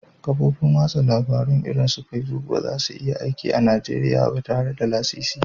Kafofin watsa labarun irin su Facebook ba za su iya aiki a Najeriya ba tare da lasisi ba